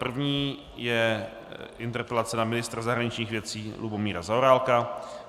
První je interpelace na ministra zahraničních věcí Lubomíra Zaorálka.